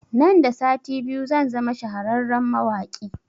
Nan da sati biyu zan zama shahararren mawaƙi